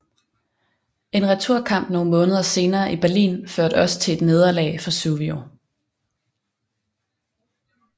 En returkamp nogle måneder senere i Berlin førte også til et nederlag for Suvio